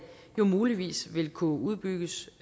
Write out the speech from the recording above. muligvis vil kunne udbygges